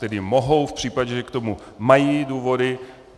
Tedy mohou v případě, že k tomu mají důvody.